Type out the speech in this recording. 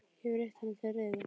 Ég hef reitt hana til reiði.